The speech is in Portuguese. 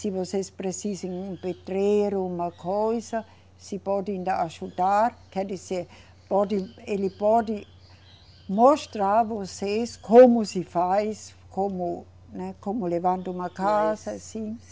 Se vocês precisem um pedreiro, uma coisa, se podem ajudar, quer dizer, ele pode mostrar a vocês como se faz, como, né, como levanta uma casa, assim.